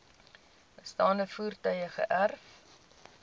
bestaande voertuie geërf